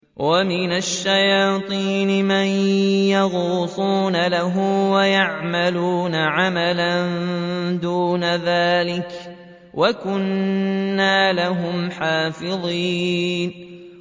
وَمِنَ الشَّيَاطِينِ مَن يَغُوصُونَ لَهُ وَيَعْمَلُونَ عَمَلًا دُونَ ذَٰلِكَ ۖ وَكُنَّا لَهُمْ حَافِظِينَ